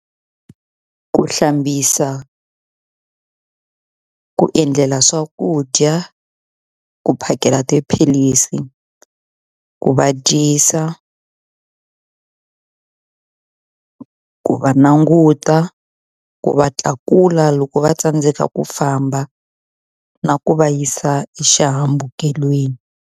Ku hlambisa, ku endlela swakudya, ku phakela tiphilisi, ku va dyisa, ku va languta, ku va tlakula loko va tsandzeka ku famba na ku va yisa exihambukelweni.